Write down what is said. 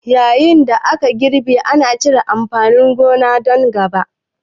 Yayin da ake girbi, ana cire irin amfanin gona don gaba.